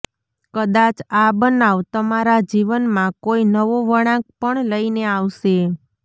કદાચ આ બનાવ તમારા જીવનમાં કોઈ નવો વળાંક પણ લઈને આવશે